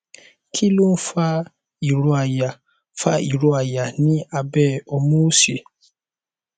kí ló ń fa ìró àyà fa ìró àyà ní abẹ omu òsì